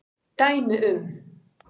Dæmi um